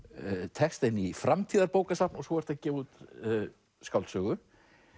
texta inn í framtíðarbókasafn og svo ertu að gefa út skáldsögu